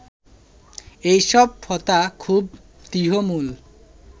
এই সব প্রথা খুব দৃঢ়মূল